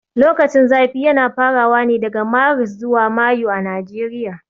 Lokacin zafi yana farawa ne daga Maris zuwa Mayu a Nigeria